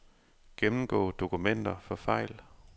Gennemgå dokumenter for fejl.